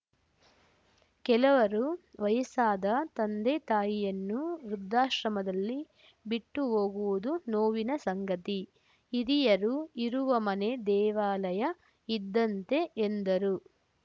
ಕೆಲವರು ವಯಸ್ಸಾದ ತಂದೆ ತಾಯಿಯನ್ನು ವೃದ್ಧಾಶ್ರಮದಲ್ಲಿ ಬಿಟ್ಟು ಹೋಗುವುದು ನೋವಿನ ಸಂಗತಿ ಹಿರಿಯರು ಇರುವ ಮನೆ ದೇವಾಲಯ ಇದ್ದಂತೆ ಎಂದರು